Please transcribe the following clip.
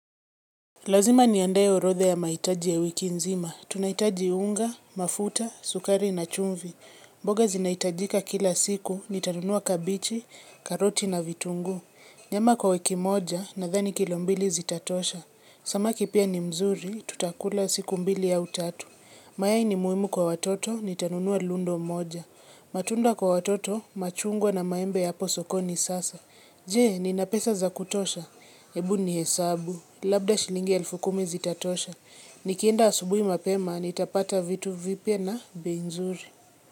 Lazima niandae orodha ya mahitaji ya wiki nzima. Tunahitaji unga, mafuta, sukari na chumvi. Mboga zinahitajika kila siku, nitanunua kabichi, karoti na vitunguu. Nyama kwa wiki moja, nadhani kilo mbili zitatosha. Samaki pia ni mzuri, tutakula siku mbili au tatu. Mayai ni muhimu kwa watoto, nitanunua lundo moja. Matunda kwa watoto, machungwa na maembe yapo sokoni sasa. Je, nina pesa za kutosha. Ebu nihesabu. Labda shilingi elfu kumi zitatosha. Nikienda asubuhi mapema, nitapata vitu vipya na bei nzuri.